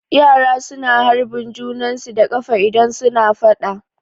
Yara su na harbin junan su da ƙafa idan su na faɗa